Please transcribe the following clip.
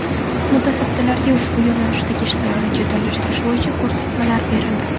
Mutasaddilarga ushbu yo‘nalishdagi ishlarni jadallashtirish bo‘yicha ko‘rsatmalar berildi.